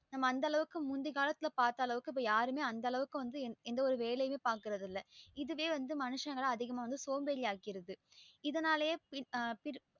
நம்ம அந்த அளவுக்கு முந்திகாலத்துல பாத்தா அளவுக்கு யாருமே அந்த அளக்கு எந்த ஒரு வேலையுமே பாக்குறது இல்ல இதுவே மனுஷங்களா வந்து சோம்பேரியாக்கிருது இதனாலேயே